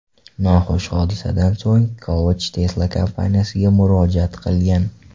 Noxush hodisadan so‘ng, Kovach Tesla kompaniyasiga murojaat qilgan.